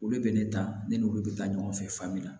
Olu bɛ ne ta ne n'olu bɛ taa ɲɔgɔn fɛ fan min na